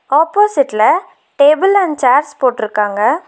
ஆப்போசிட்ல table and chairs போட்ருக்காங்க.